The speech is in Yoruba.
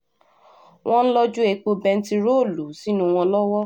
wọ́n ń lọ́jú epo bẹntiróòlù sínú wọn lọ́wọ́